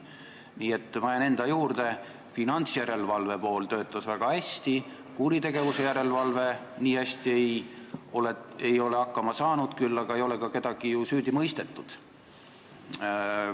Nii et ma jään enda juurde: finantsjärelevalve töötas väga hästi, kuritegevuse järelevalve nii hästi ei ole hakkama saanud, küll aga ei ole ka kedagi ju süüdi mõistetud.